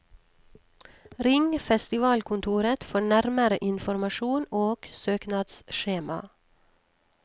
Ring festivalkontoret for nærmere informasjon og søknadsskjema.